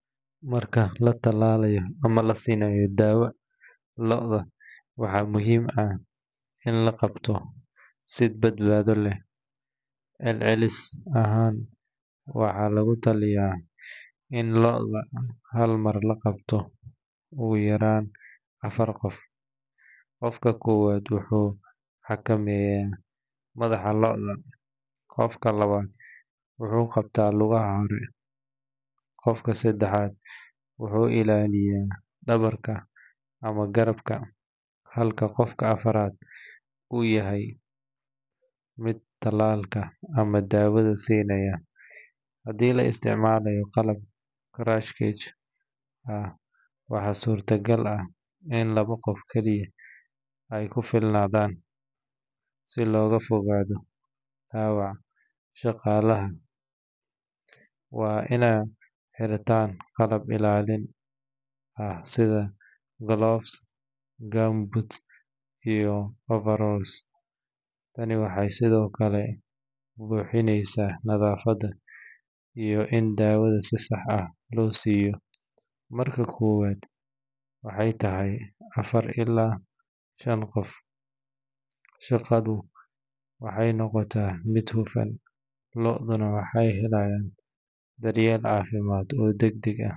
Marka la tallaalayo ama la siinayo daawo lo’da, waxaa muhiim ah in la qabto si badbaado leh. Celcelis ahaan, waxaa lagu taliyay in lo’da hal mar la qabto ugu yaraan afar qof. Qofka koowaad wuxuu xakameeyaa madaxa lo’da, qofka labaad wuxuu qabtaa lugaha hore, qofka saddexaad wuxuu ilaaliyaa dhabarka ama garabka, halka qofka afraad uu yahay midka tallaalka ama daawada siinaya. Haddii la isticmaalayo qalab crush cage ah, waxaa suurtogal ah in labo qof kaliya ay ku filnaadaan. Si looga fogaado dhaawac, shaqaalaha waa inay xirtaan qalab ilaalin ah sida gloves, gumboots, iyo overalls. Tani waxay sidoo kale hubinaysaa nadaafad iyo in daawada si sax ah loo siiyo. Marka kooxdu tahay afar ilaa shan qof, shaqadu waxay noqotaa mid hufan, lo’duna waxay helayaan daryeel caafimaad oo degdeg ah.